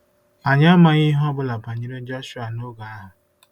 Anyị amaghị ihe ọ bụla banyere Jọshụa noge ahụ.